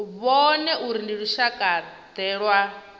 vhone uri ndi lushakade lwa